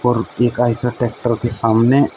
और एक आइशर ट्रैक्टर के सामने--